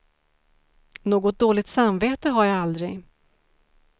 Något dåligt samvete har jag aldrig.